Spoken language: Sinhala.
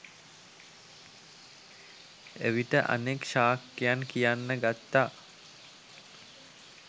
එවිට අනෙක් ශාක්‍යයන් කියන්න ගත්තා